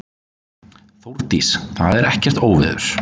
Þórdís: Það er ekkert óveður.